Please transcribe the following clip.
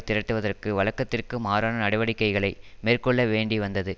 திரட்டுவதற்கு வழக்கத்திற்கு மாறான நடவடிக்கைகளை மேற்கொள்ள வேண்டி வந்தது